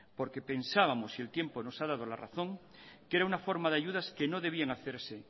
porque pensábamos y el tiempo nos ha dado la razón que era una forma de ayudas que no debían hacerse